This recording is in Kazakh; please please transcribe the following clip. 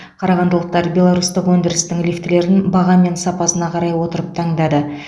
қарағандылықтар беларусьтық өндірістің лифтілерін баға мен сапасына қарай отырып таңдады